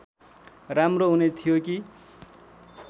राम्रो हुने थियो कि